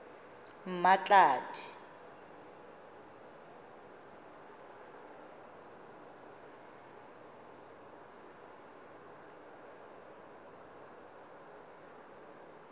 mmatladi